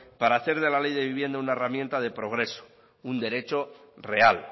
para hacer de la ley de vivienda una herramienta de progreso un derecho real